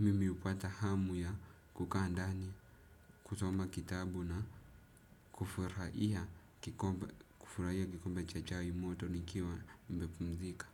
mimi upata hamu ya kukaa ndani, kusoma kitabu na kufuraia kikombe cha chai moto nikiwa nime pumzika.